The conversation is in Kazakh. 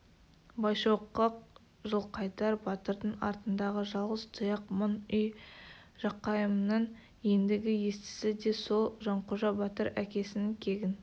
байшоқы жылқайдар батырдың артындағы жалғыз тұяқ мың үй жақайымның ендігі естісі де сол жанқожа-батыр әкесінің кегін